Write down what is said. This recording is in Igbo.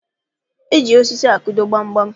Eji osisi akụdo gbamgbam